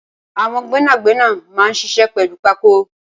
Awọn gbẹnágbẹná mà n ṣiṣẹ̀ pẹlù pákó